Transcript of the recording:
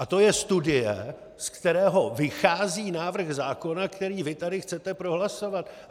A to je studie, z které vychází návrh zákona, který vy tady chcete prohlasovat.